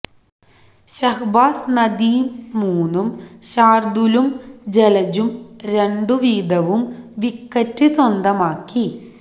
ശഹ്ബാസ് നദീം മൂന്നും ശാര്ദുലും ജലജും രണ്ടു വീതവും വിക്കറ്റ് സ്വന്തമാക്കി